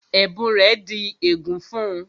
Ẹ̀bùn rẹ̀ di ègún fún-un